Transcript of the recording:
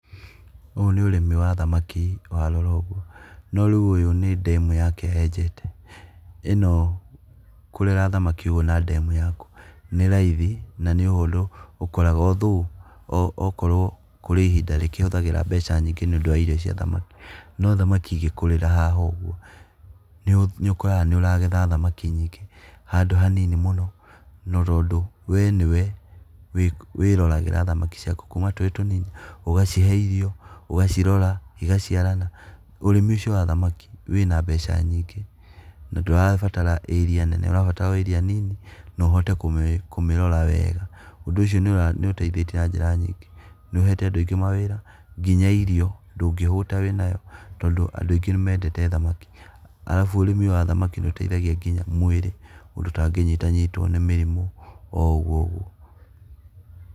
Ũyũ nĩ ũrĩmi wa thamaki warora ũguo no rĩu ũyũ nĩ ndemu yake enjete, ĩno, kũrera thamaki ũũ na ndemu yaku nĩ raithi na nĩ ũndũ ũkoragwo. Although kũrĩ ihindĩ rĩkĩhũthagĩra mbeca nyingĩ nĩ ũndũ wa irio cia thamaki, no thamaki ĩkuriire haha uguo, nĩ ũkoraga nĩ ũragetha thamaki nyingĩ handũ ha nini mũno . Na tondũ wee nĩ we, wĩroragĩra thamaki ciaku kuma tũrĩ o tũnini ũgacihe irio ũgacirora igaciarana. Ũrĩmi ũcio wa thamaki wĩna mbeca nyingĩ, na ndũrabatara area nene ũrabatara area o nini na ũhote kũmĩrora wega. Ũndu ũcio nĩ ũra nĩ ũteithĩtie na njĩra nyingĩ nĩ ũhete andũ aingĩ mawĩra nginya irio ndũngĩhũta wĩnayo tondũ andũ aingi nĩ mendete thamaki. Arabu ũrĩmi wa thamaki nĩ ũteithagia nginya mwĩrĩ ũndũ ũtangĩnyita nyitwo nĩ mĩrimũ o ũguo ũguo.